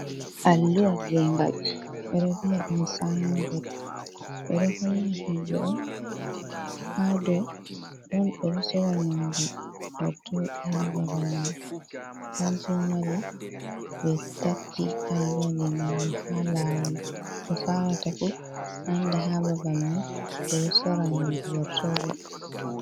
Allu’a gengal bedo vi'a ɗum sanbot, ɓe ɗo holla himbe on ha ɗo ɗon ɓeɗo sora nyamdu goortode ha babal mai, kanjum wadi be takki alluha ji ngallu ha lawal bo salata fu anda babal mai ɓeɗo sora nyamdu gortode.